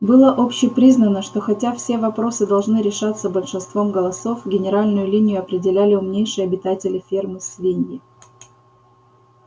было общепризнано что хотя все вопросы должны решаться большинством голосов генеральную линию определяли умнейшие обитатели фермы свиньи